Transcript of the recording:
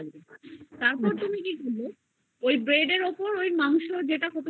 তারপর তুমি কি করবে ওই bread এর উপর ওই মাংস তুমি রান্না করলে